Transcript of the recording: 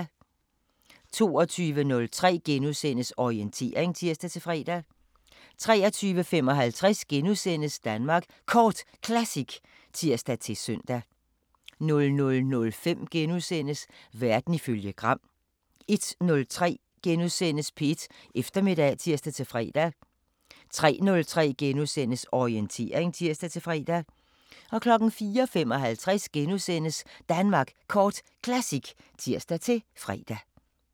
22:03: Orientering *(tir-fre) 23:55: Danmark Kort Classic *(tir-søn) 00:05: Verden ifølge Gram * 01:03: P1 Eftermiddag *(tir-fre) 03:03: Orientering *(tir-fre) 04:55: Danmark Kort Classic *(tir-fre)